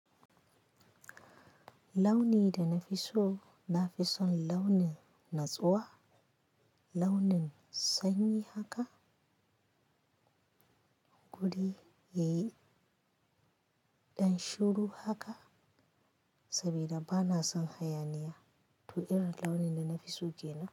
Launi da na fi so, na fi son launin natsuwa, launin sanyi haka, guri yayi ɗan shiru haka saboda ba na son hayaniya. To irin launin da na fi so ke nan.